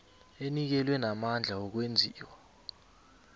enikelwe namandla wokwenziwa